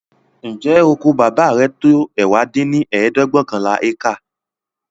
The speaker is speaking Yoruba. ǹjẹ́ oko Bábà rẹ tó ẹ̀wá dín ní ẹ̀ẹ́dẹ́gbẹ́ọ̀kànlá ékà?